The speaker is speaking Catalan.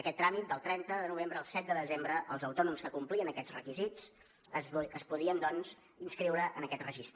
aquest tràmit del trenta de novembre al set de desembre els autònoms que complien aquests requisits es podien doncs inscriure en aquest registre